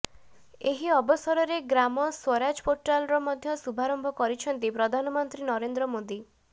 ଏହି ଅବସରରେ ଗ୍ରାମ ସ୍ୱରାଜ ପୋର୍ଟାଲର ମଧ୍ୟ ଶୁଭାରମ୍ଭ କରିଛନ୍ତି ପ୍ରଧାନମନ୍ତ୍ରୀ ନରେନ୍ଦ୍ର ମୋଦି